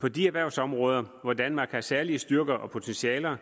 på de erhvervsområder hvor danmark har særlige styrker og potentialer